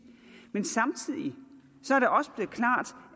men samtidig